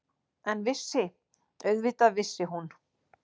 En vissi- auðvitað vissi hún.